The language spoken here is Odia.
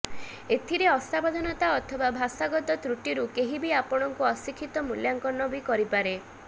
ଏଥିରେ ଅସାବଧାନତା ଅଥବା ଭାଷାଗତ ତ୍ରୁଟିରୁ କେହି ବି ଆପଣଙ୍କୁ ଅଶିକ୍ଷିତ ମୂଲ୍ୟାଙ୍କନ ବି କରିପାରେ